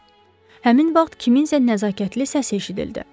Həmin vaxt kimsə nəzakətli səs eşitdi.